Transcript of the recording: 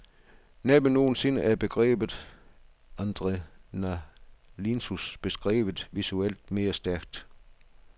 Næppe nogen sinde er begrebet adrenalinsus beskrevet visuelt mere stærkt.